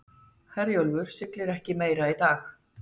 Herjólfur siglir ekki meira í dag